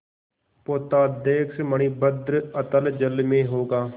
पोताध्यक्ष मणिभद्र अतल जल में होगा